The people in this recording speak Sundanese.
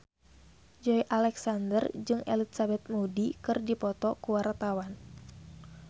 Joey Alexander jeung Elizabeth Moody keur dipoto ku wartawan